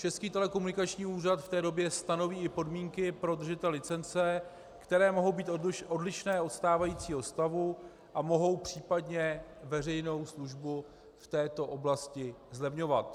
Český telekomunikační úřad v té době stanoví i podmínky pro držitele licence, které mohou být odlišné od stávajícího stavu a mohou případně veřejnou službu v této oblasti zlevňovat.